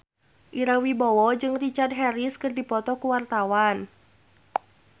Ira Wibowo jeung Richard Harris keur dipoto ku wartawan